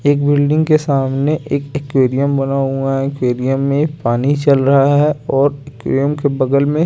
एक बिल्डिंग के सामने एक टीकेरियं बना हुआ है टीकेरियं में एक पानी चल रहा है और टीकेरियं के बगल में--